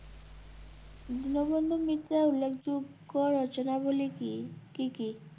দীনবন্ধু মিত্রের উল্লেখযোগ্য রচনাবলী কী, কী কী?